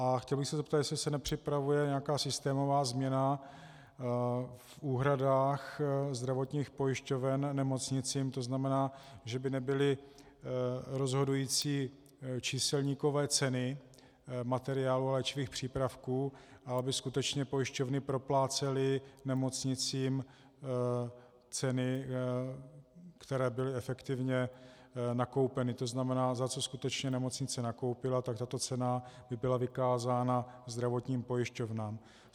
A chtěl bych se zeptat, jestli se nepřipravuje nějaká systémová změna v úhradách zdravotních pojišťoven nemocnicím, to znamená, že by nebyly rozhodující číselníkové ceny materiálu a léčivých přípravků a aby skutečně pojišťovny proplácely nemocnicím ceny, které byly efektivně nakoupeny, to znamená, za co skutečně nemocnice nakoupila, tak tato cena by byla vykázána zdravotním pojišťovnám.